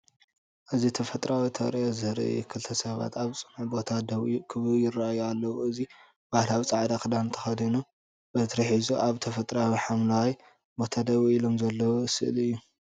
እዚ ተፈጥሮኣዊ ተርእዮ ዘርኢ እዩ። ክልተ ሰባት ኣብ ጽኑዕ ቦታ ደው ክብሉ ይረኣዩ ኣለው። እዚ ባህላዊ ጻዕዳ ክዳን ተኸዲኑ፡ በትሪ ሒዙ፡ ኣብ ተፈጥሮኣዊ ሓምላይ ቦታ ደው ኢሎም ዘለው ስእሊ እዩ።